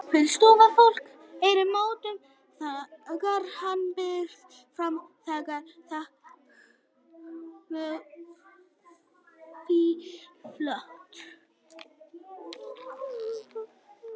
Full stofa af fólki hreyfði mótmælum þegar hann brunaði fram með frakkalöfin út í loftið.